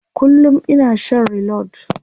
Kullum ina shan reload.